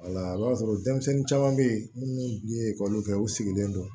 i b'a sɔrɔ denmisɛnnin caman bɛ yen minnu ye kɛ u sigilen don